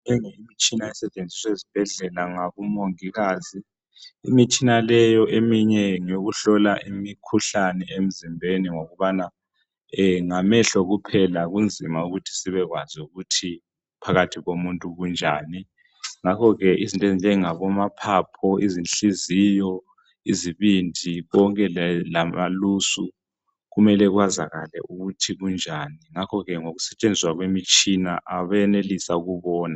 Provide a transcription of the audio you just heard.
Leyi yimtshina esetshenziswa ezibhedlela ngabo mongikazi imitshina leyo eminye ngeyokuhlola imikhuhlane emzimbeni ngokubana ngamehlo kuphela kunzima ukuthi sibekwazi ukuthi phakathi komuntu kunjani. Ngakho ke izinto ezinjengabo maphaphu, izinhliziyo, izibindi konke lamalusu kumele kwazakale ukuthi kunjani, ngakho ke ngoku setshenziswa kwemitshina benelisa ukubona.